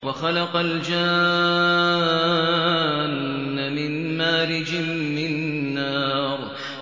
وَخَلَقَ الْجَانَّ مِن مَّارِجٍ مِّن نَّارٍ